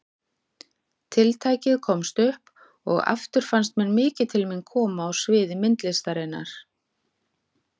Tiltækið komst upp og aftur fannst mér mikið til mín koma á sviði myndlistarinnar.